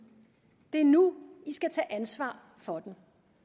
det er nu i skal tage ansvar for den